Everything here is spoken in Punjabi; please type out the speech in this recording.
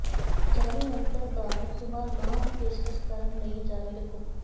ਅਤੇ ਜਾਅਲੀ ਯੰਤਰ ਦਾ ਇਸਤੇਮਾਲ ਨਾ ਦੀ ਪੇਸ਼ਕਸ਼ ਕਰਨ ਲਈ ਜਾਰੀ ਰੱਖੋ